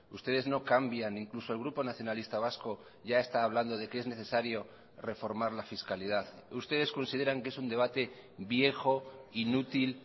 ustedes no cambian incluso el grupo nacionalista vasco ya está hablando de que es necesario reformar la fiscalidad ustedes consideran que es un debate viejo inútil